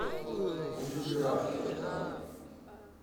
а будет ли рафтинг завтра